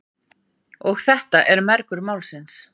Og þetta er mergurinn málsins.